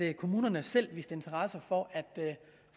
at kommunerne selv viste interesse for at